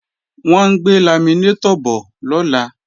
Wọ́n ń gbé laminétọ̀ bọ̀ lọ́la